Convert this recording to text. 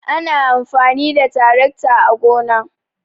ana amfani da taracta a gona